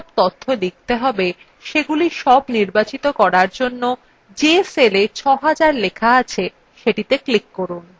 তাহলে প্রথমে যে সব তথ্য লিখতে হবে সেগুলি সব নির্বাচিত করার জন্য যে cellএ ৬০০০ লেখা আছে সেটিতে ক্লিক করুন